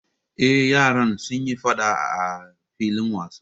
Eh, yaran suyi faɗa a filin wasa